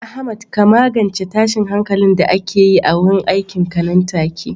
Ahmad ka magance tashin hankalin da ake yi a wurin aikinka nan take.